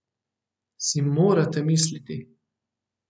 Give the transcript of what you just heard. Si morate misliti?